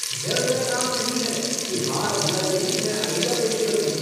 यह मेरा काम नहीं है कि हाथ हिलाते ही मैं आइडिया पेश कर दूं।